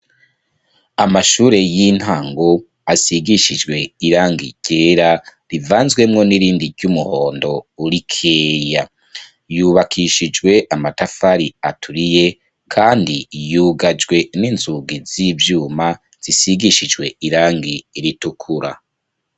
Amashure y'intango asigishijwe irangi ryera, rivanzwemwo n'irindi ry'umuhondo rikeya, yubakishijwe amatafari aturiye kandi yugajwe n'inzugi z'ivyuma zisigishijwe irangi ritukura.